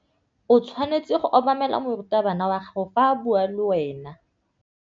O tshwanetse go obamela morutabana wa gago fa a bua le wena.